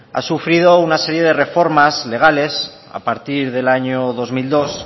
ha sufrido una serie de reformas legales a partir del año dos mil dos